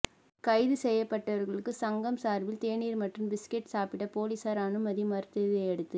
கைது செய்யப்பட்டவா்களுக்கு சங்கம் சாா்பில் தேநீா் மற்றும் பிஸ்கட் சாப்பிட போலீஸாா் அனுமதி மறுத்ததையடுத்து